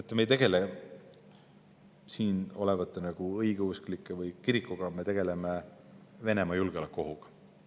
Teate, me ei tegele siin olevate õigeusklike või kirikuga, me tegeleme Venemaalt julgeolekuohuga.